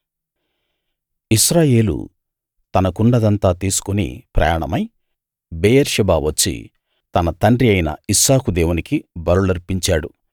ఇశ్రాయేలు తనకున్నదంతా తీసుకు ప్రయాణమై బెయేర్షెబా వచ్చి తన తండ్రి అయిన ఇస్సాకు దేవునికి బలులర్పించాడు